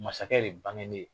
Masakɛ de bangenen